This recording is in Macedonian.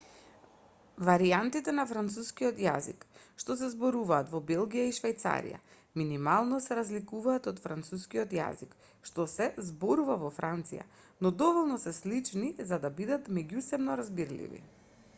варијантите на францускиот јазик што се зборуваат во белгија и швајцарија минимално се разликуваат од францускиот јазик што се зборува во франција но доволно се слични за да бидат меѓусебно разбирливи